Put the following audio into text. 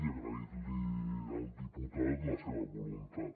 i agrair li al diputat la seva voluntat